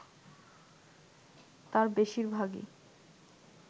তার বেশিরভাগই